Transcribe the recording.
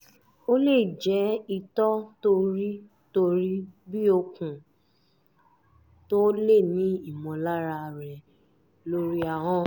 ó lè jẹ́ itọ́ tó rí tó rí bí okùn tó o lè ní ìmọ̀lára rẹ̀ lórí ahọ́n